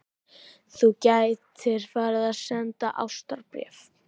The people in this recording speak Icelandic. Þú gætir farið að senda ástarbréf.